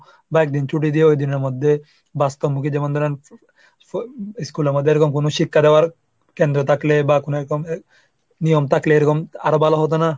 বা একজন ছুটি দিয়ে ওই দিনের মধ্যে বাস্তবমুখী যেমন ধরেন school এ আবার যেরকম কোন শিক্ষা দেওয়ার কেন্দ্র থাকলে বা কোন এরকম নিয়ম থাকলে এরকম আরো ভালো হতো না?